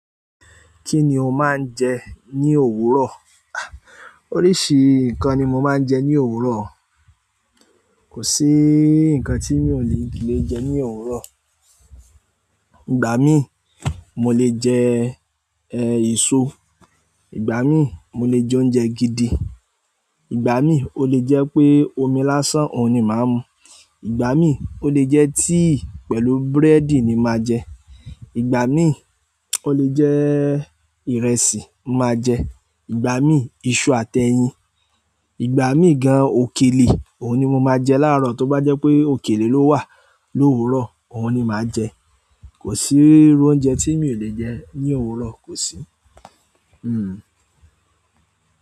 Kí ni o máa ń jẹ ní òwúrọ̀? Oríṣi nǹkan ni mo máa ń jẹ ní òwúrọ̀. Kò sí nǹkan tí mi ò le jẹ ní òwúrọ̀. Ìgbà mí, mo lè jẹ, ẹ, èso, ìgbà mí, mo lè jẹ oúnjẹ gidi, ìgbà mí, ó lè jẹ́ pé omi lásán òun ni màá mu, ìgbà mí, ó lè jẹ́ tíì pẹ̀lú búrẹ́dì ni màá jẹ, ìgbà mí, ó lè jẹ ìrẹsì màá jẹ, ìgbà mí, iṣu àti ẹyin, ìgbà mí gan, òkèlè, òun ni mo máa jẹ láàárọ̀ tó bá jẹ́ pé òkèlè ló wà l'òwúrọ̀, òun ni màá jẹ. Kò sí irú oúnjẹ tí mi ò lè jẹ ní òwúrọ̀, kò sí. Hmm.